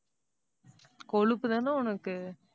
கொழுப்புதானே உனக்கு?